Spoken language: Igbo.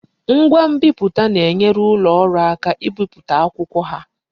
Ngwa nbiputa na-enyere ulo oru aka ibipụta akwụkwọ ha